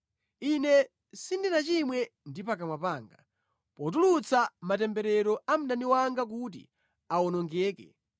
ine sindinachimwe ndi pakamwa panga potulutsa matemberero a mdani wanga kuti awonongeke,